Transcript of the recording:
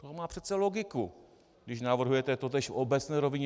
To má přece logiku, když navrhujete totéž v obecné rovině.